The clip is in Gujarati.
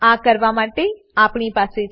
આ કરવા માટે આપણી પાસે છે